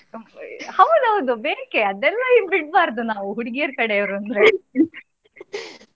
ಹೌದೌದು ಬೇಕೇ ಅದೆಲ್ಲ ಬಿಡ್ಬಾರ್ದು ನಾವು ಹುಡುಗಿಯರ ಕಡೆಯವರು ಅವ್ರು ಅಂದ್ರೆ